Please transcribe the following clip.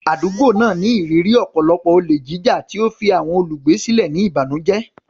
Àdúgbò náà ní ìrírí ọ̀pọ̀lọpọ̀ olè jíjà, tí ó fi àwọn olùgbé sílẹ̀ ní ìbànújẹ́.